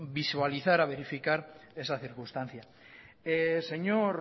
visualizar a verificar esa circunstancia señor